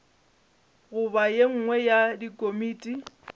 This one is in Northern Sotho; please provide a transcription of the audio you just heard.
goba ye nngwe ya dikomiti